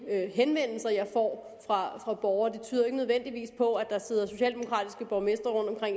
henvendelser jeg får fra borgerne tyder ikke nødvendigvis på at der sidder socialdemokratiske borgmestre